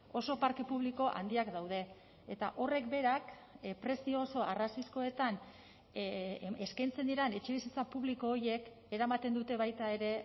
oso parke publiko handiak daude eta horrek berak prezio oso arrazoizkoetan eskaintzen diren etxebizitza publiko horiek eramaten dute baita ere